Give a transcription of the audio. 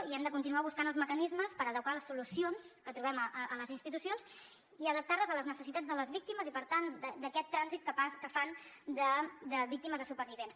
i hem de continuar buscant els mecanismes per adequar les solucions que trobem a les institucions i adaptar les a les necessitats de les víctimes i per tant d’aquest trànsit que fan de víctimes a supervivents